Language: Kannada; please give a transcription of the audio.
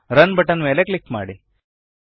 ರನ್ ಬಟನ್ ಮೇಲೆ ಕ್ಲಿಕ್ ಮಾಡಿ